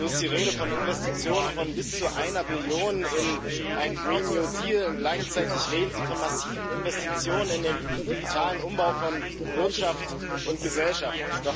So ist die Rede von Investitionen von bis zu einer Billion EUR in einen und gleichzeitig reden Sie von massiven Investitionen in den digitalen Umbau von Wirtschaft und Gesellschaft.